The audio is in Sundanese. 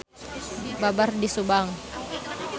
Babar di Subang.